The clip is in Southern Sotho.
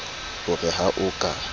o re ha o ka